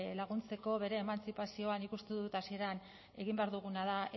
laguntzeko bere emantzipazioan nik uste dut hasieran egin behar duguna da